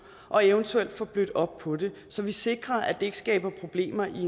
og eventuelt få blødt op på det så vi sikrer at det ikke skaber problemer i